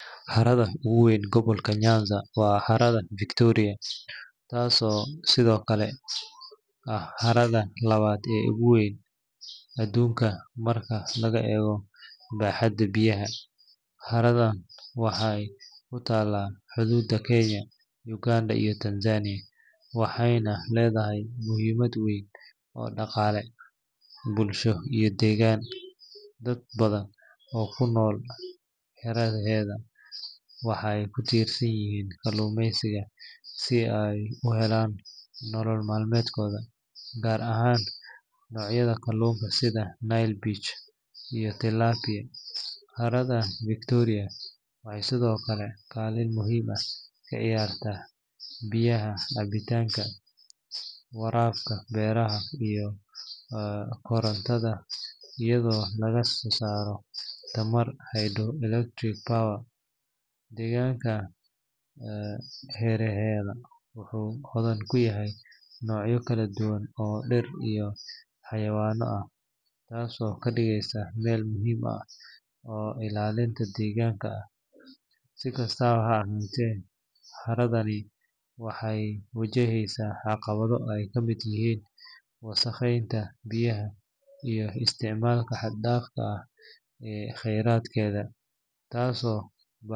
Harada ugu weyn gobolka Nyanza waa Harada Victoria, taasoo sidoo kale ah harada labaad ee ugu weyn adduunka marka laga eego baaxadda biyaha. Haradan waxay ku taallaa xudduuda Kenya, Uganda, iyo Tanzania, waxayna leedahay muhiimad weyn oo dhaqaale, bulsho, iyo deegaan. Dad badan oo ku nool hareeraheeda waxay ku tiirsan yihiin kalluumaysiga si ay u helaan nolol maalmeedkooda, gaar ahaan noocyada kalluunka sida Nile perch iyo Tilapia. Harada Victoria waxay sidoo kale kaalin muhiim ah ka ciyaartaa biyaha cabitaanka, waraabka beeraha, iyo korontada iyadoo laga soo saaro tamarta hydroelectric power. Deegaanka hareeraheeda wuxuu hodan ku yahay noocyo kala duwan oo dhir iyo xayawaan ah, taasoo ka dhigaysa meel muhiim ah oo ilaalinta deegaanka ah. Si kastaba ha ahaatee, haradani waxay wajahaysaa caqabado ay ka mid yihiin wasakheynta biyaha iyo isticmaalka xad dhaafka ah ee kheyraadkeeda.